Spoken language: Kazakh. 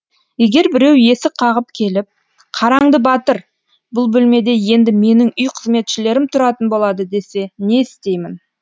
егер біреу есік қағып келіп қараңды батыр бұл бөлмеде енді менің үй қызметшілерім тұратын болады десе не істеймін